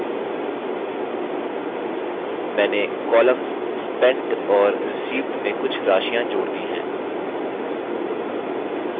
मैंने columns spent और received में कुछ राशियाँ जोड़ दी हैं